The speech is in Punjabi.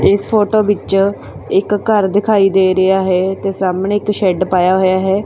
ਇਸ ਫੋਟੋ ਵਿੱਚ ਇੱਕ ਘਰ ਦਿਖਾਈ ਦੇ ਰਿਹਾ ਹੈ ਤੇ ਸਾਹਮਣੇ ਇੱਕ ਸ਼ੈਡ ਪਾਇਆ ਹੋਇਆ ਹੈ।